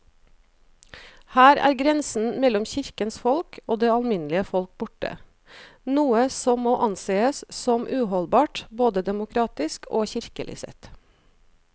Her er grensen mellom kirkens folk og det alminnelige folk borte, noe som må ansees som uholdbart både demokratisk og kirkelig sett.